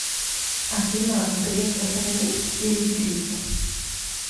афина греф экономист или юрист